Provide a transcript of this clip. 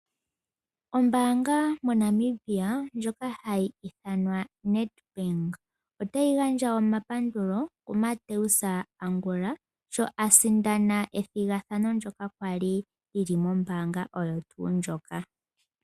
Ombaanga moNamibia ndjoka hayi ithanwa oNedbank otayi gandja omapandulo kuMateus Angula sho asindana ethigathano ndyoka kwali lili mombaanga moka.